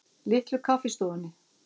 Litlu Kaffistofunni